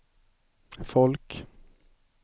folk